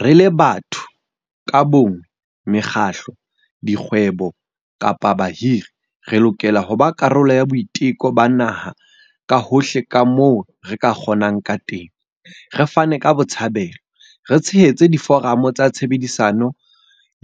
Re le batho ka bonngwe, mekgatlo, dikgwebo kapa bahiri, re lokela ho ba karolo ya boiteko ba naha ka hohle kamoo re ka kgonang kateng, re fane ka botshabelo, re tshehetse diforamo tsa tshebedisano